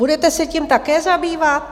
Budete se tím také zabývat?